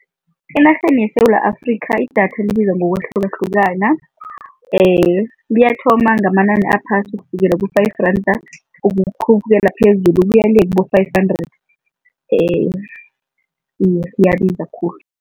Enarheni yeSewula Afrika idatha libiza ngokwahlukahlukana. Liyathoma ngamanani aphasi ukufikela ku-five rand ukukhuphukela phezulu ukuya le kibo-five hundred iye liyabiza khulu.